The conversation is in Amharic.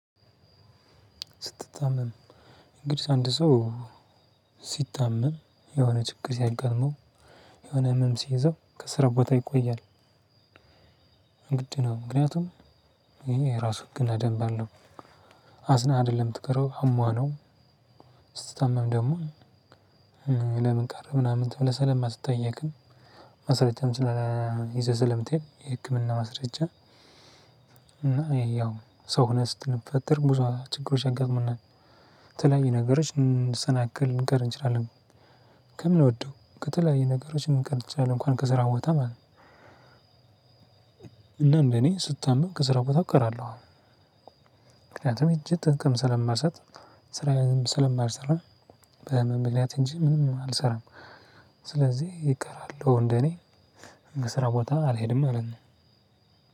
ስትታመም እንግዲህ አንድ ሰው ሲታመም የሆነ ችግር ሲያጋጥመው የሆነ ህመም ሲይዘው ከስራ ቦታ ይቆያል። እንግዲህ ነው ምክንያቱም ይሄ ራሱ ህግ እና ደንብ አለው። አዝና አይደለም ምትቀረው አሞህ ነው። ስትታመም ደግሞ ለምን ቀረህ ምናምን ተብለህ ሰለማትጠየቅም ማስረጃ ስለ ይዘህ ስለምትሄድ የህክምና ማስረጃ። እና ያው ሰው ሆነህ ስትፈጠር ብዙ ችግሮች ያጋጥሙናል። ተለያዩ ነገሮች ልንሰናክል ልንቀር እንችላለን። ከምንወደው ከተለያየ ነገሮችን ልንቀር እንችላለን እንኳን ከስራ ቦታ ማለት ነው። እናም እኔ ስታመም ከስራ ቦታ እቀራለሁ። ምክንያቱም ሄጅ ጥቅም ስለማልሰጥ ስራዬንም ስለማልሰራ በህመም ምክንያት እንጂ ምንም አልሰራም። ስለዚህ ይቀራሉ እንደኔ ስራ ቦታ አልሄድም ማለት ነው።